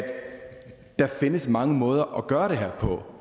der findes mange måder at gøre det her på